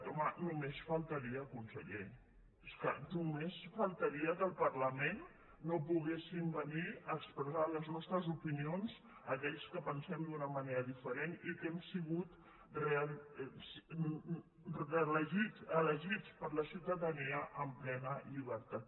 home només faltaria conseller és que només faltaria que al parlament no poguéssim venir a expressar les nostres opinions aquells que pensem d’una manera diferent i que hem sigut elegits per la ciutadania amb plena llibertat